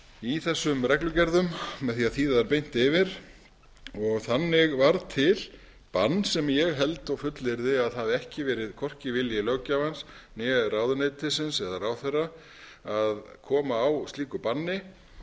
í þessum reglugerðum með því að þýða þær beint yfir og þannig varð til bann sem ég held og fullyrði að hafi hvorki verið vilji löggjafans né ráðuneytisins eða ráðherra að koma á slíku banni